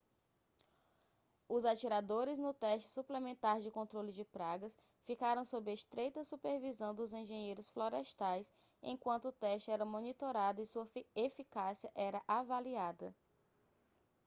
os atiradores no teste suplementar de controle de pragas ficaram sob estreita supervisão dos engenheiros florestais enquanto o teste era monitorado e sua eficácia era avaliada